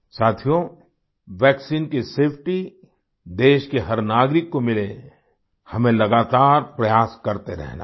साथियोवैक्सीन की सेफटी देश के हर नागरिक को मिले हमें लगातार प्रयास करते रहना है